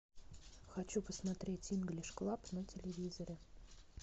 хочу посмотреть инглиш клаб на телевизоре